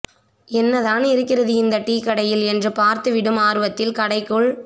என்னதான் இருக்கிறது இந்த டீ கடையில் என்று பார்த்துவிடும் ஆர்வத்தில் கடைக்குள்